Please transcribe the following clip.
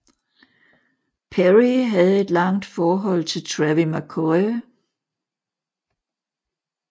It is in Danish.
Perry havde et langt forhold til Travie McCoy